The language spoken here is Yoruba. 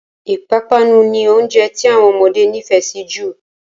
Ìpanu ni oúnjẹ tí àwọn ọmọdé nifẹ si jù